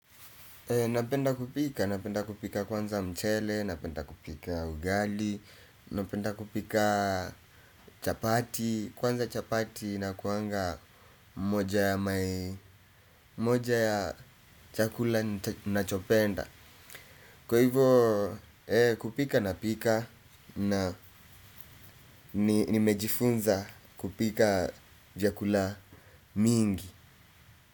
Napenda kupika, napenda kupika kwanza mchele, napenda kupika ugali, napenda kupika chapati, kwanza chapati na kuanga moja ya chakula nachopenda. Kwa hivyo kupika napika na nimejifunza kupika vyakula mingi.